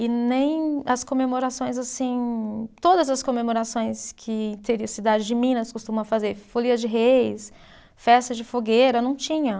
E nem as comemorações assim, todas as comemorações que a cidade de Minas costuma fazer, folia de reis, festa de fogueira, não tinha.